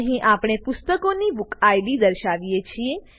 અહીં આપણે પુસ્તકની બુકિડ દર્શાવીએ છીએ